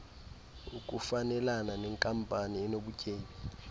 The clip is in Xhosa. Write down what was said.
ukufanelana nenkampani enobutyebi